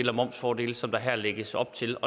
og momsfordele som der her lægges op til